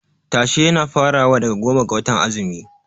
Tashe yana farawa daga goma ga watan azumi.